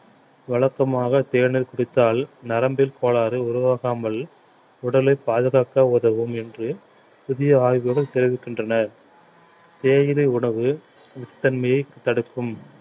வழக்கமாக தேநீர் குடித்தால் நரம்பில் கோளாறு உருவாகாமல் உடலை பாதுகாக்க உதவும் என்று புதிய ஆய்வுகள் தெரிவிக்கின்றன தேயிலை உணவு விஷத்தன்மையை தடுக்கும்